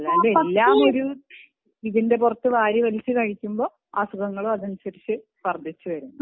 എല്ലാ നേരവും ഇതിന്റെ പുറത്തു വാരി വലിച്ചു കഴിക്കുമ്പോൾ അസുഖങ്ങളും അതിനനുസരിച്ചു വർധിച്ചു വരും